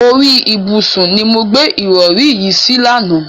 Orí ìbùsùn ni mo gbé ìrọ̀rí yín sí lánàá.